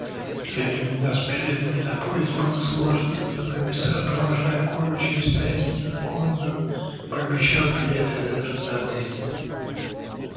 в те времена с билетами на поезд было сложно но комиссар провожая колю через таинственную комнату пообещал билеты это раздобыть